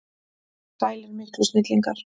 Sælir miklu snillingar!